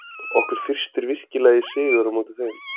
Okkur þyrstir virkilega í sigur á móti þeim.